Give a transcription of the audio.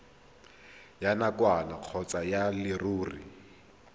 ya nakwana kgotsa ya leruri